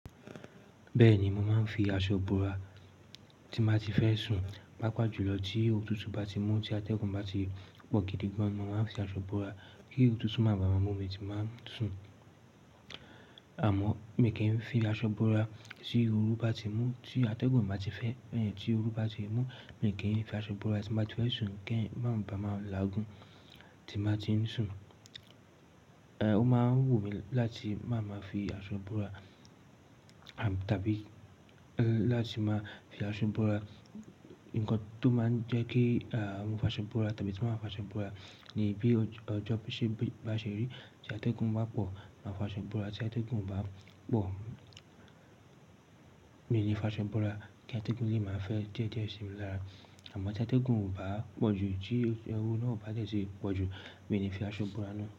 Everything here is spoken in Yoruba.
Bẹ́ẹ̀ni, mo máa ń fi aṣọ búra tí màá ti fẹ́ sùn. Pápá jùlọ tí otutu bá ti mú tí atẹ́gùn bá ti pọ̀ gidi gan, mo máa ń fi aṣọ bora kí otutu máa ba à máa mú mi tí màá sùn. Àmọ́, mi kì í fi aṣọ búra tí oru bá ti mú tí atẹ́gùn màá ti fẹ́, tí oru bá ti mú, mi kì í fi aṣọ búra tí màá ti fẹ́ sùn kí ẹ̀ máa ba à máa lagun tí màá ti ń sùn. Ó máa ń wù mí láti máa máa fi aṣọ búra, à, tàbí láti máa fi aṣọ búra. Ǹkan tó máa ń jẹ́ kí, àh, mo fa aṣọ búra tàbí tí mo máa fa aṣọ búra ni bí ọjọ́ bíṣẹ́ bá ṣeré tí atẹ́gùn bá pọ̀, màá fa aṣọ búra. Tí atẹ́gùn ò bá pọ̀, mi ò ní fa aṣọ búra kí atẹ́gùn lè máa fẹ́ díẹ̀ díẹ̀ ṣe mi lára. Àmọ́ tí atẹ́gùn ò bá pọ̀jù, tí orú náà ò bá dẹ́ti pọ̀ jù, mi ò ní fi aṣọ búra náà.